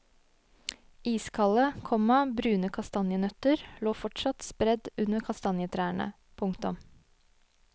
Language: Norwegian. Iskalde, komma brune kastanjenøtter lå fortsatt spredt under kastanjetrærne. punktum